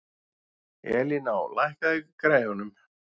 Elíná, lækkaðu í græjunum.